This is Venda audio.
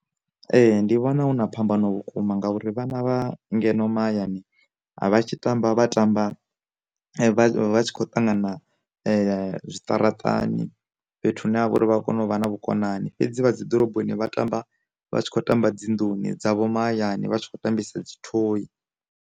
Ee, ndi vhona huna phambano vhukuma ngauri, vhana vha ngeno mahayani vha tshi tamba vha tamba vha tshi khou ṱangana zwiṱaraṱani fhethu hune ha vha uri vha kone u vha na vhukonani, fhedzi vha dzi ḓoroboni vha tamba vha tshi khou tamba dzinḓuni dzavho mahayani vha tshi kho tambisa dzi thoyi